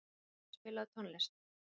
Alvin, spilaðu tónlist.